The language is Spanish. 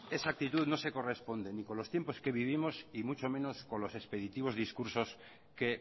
esa actitud no se corresponde ni con los tiempos que vivimos y mucho menos con los expeditivos discursos que